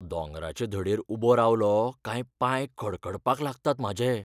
दोंगराचे धडेर उबो रावलों काय पांय कडकडपाक लागतात म्हाजे.